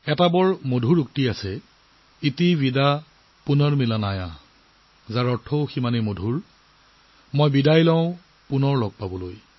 এটা অতি সুন্দৰ উক্তি আছে 'ইতি ৱিদা পুনৰ্মিলনায়' ইয়াৰ অৰ্থও ইমান সুন্দৰ মই বিদায় লৈছো আকৌ লগ পাবলৈ